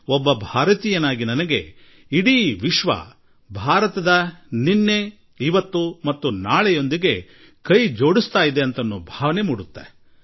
ಒಬ್ಬ ಭಾರತೀಯನಾಗಿ ಇಡೀ ವಿಶ್ವ ಯೋಗದೊಡನೆ ಕೂಡಿಕೊಂಡಾಗ ಇಡೀ ವಿಶ್ವ ನಮ್ಮ ನಿನ್ನೆ ಇಂದು ಮತ್ತು ನಾಳೆಗಳೊಡನೆ ನಂಟು ಹೊಂದುತ್ತಿದೆ ಎಂದೂ ನಮಗನ್ನಿಸುತ್ತದೆ